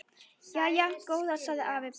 Jæja góða sagði afi bara.